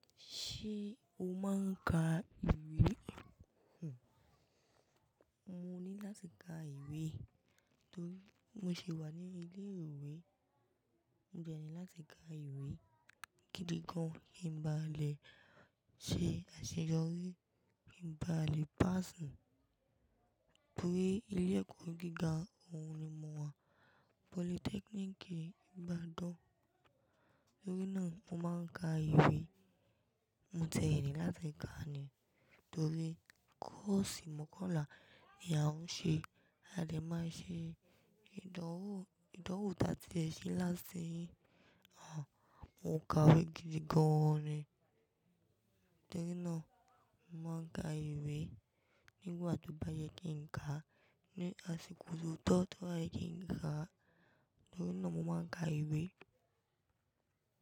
Ṣé o máa ń ka ìwé? Mo ní láti ka ìwé torí mo sì wà ní ilé ìwé. Mo dẹni láti ka ìwé gidi gan. Kí n bá lẹ ṣe àṣeyọrí, kí n bá lè pass, torí ilé ẹ̀kọ́ gíga òhun ni mo wà. Polytechnic Ibadan. Torí náà mo máa ń ka ìwé. Mo tẹ ni láti ka ni torí kọ́ọ̀sì mọ̀kànlá ni a ń ṣe. A dẹ̀ máa ṣe ìdánwò, ìdánwò ta tí ẹ ṣe ni last year yẹn. Àh, mo ka ìwé gidi gan ni. Tórí náà, mo máa ń ka ìwé nígbà tó bá yẹ kí n ka. Ni àsìkò tó tọ́, tó bá yẹ kí n ka, tórí náà mo máa ń ka ìwé.